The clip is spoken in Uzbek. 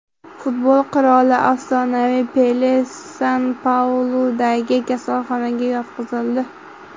Futbol qiroli, afsonaviy Pele San-Pauludagi kasalxonaga yotqizildi.